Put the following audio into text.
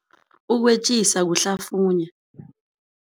Ukwetjisa kuhlafunya.